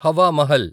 Hawa Mahal